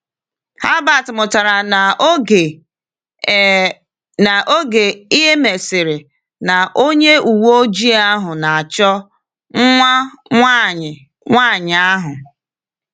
Herbert mụtara n’oge e n’oge e mesịrị na onye uweojii ahụ na-achọ nwa nwanyị nwaanyị ahụ.